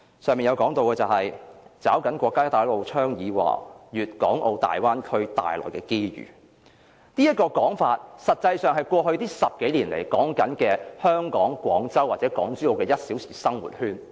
施政報告的前言提到"抓緊國家'一帶一路'倡議和'粵港澳大灣區'帶來的機遇"，這個說法，實際上是指過去10多年來宣傳的廣珠澳 "1 小時生活圈"。